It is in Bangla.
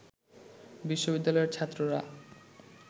বিশ্ববিদ্যালয়ের ছাত্ররা